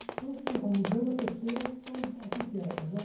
Então, você já vai no Museu da Pessoa, então, o que que é? Já